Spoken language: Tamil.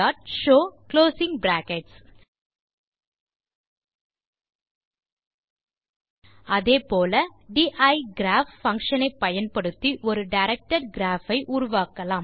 Gshow அதே போல டைகிராப் பங்ஷன் ஐ பயன்படுத்தி ஒரு டைரக்டட் கிராப் ஐ உருவாக்கலாம்